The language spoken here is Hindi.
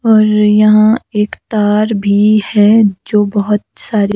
और यहाँ एक तार भी है जो बहुत सारी--